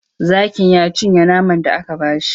Zakin ya cinye naman da aka ba shi.